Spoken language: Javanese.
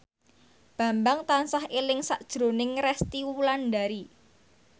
Bambang tansah eling sakjroning Resty Wulandari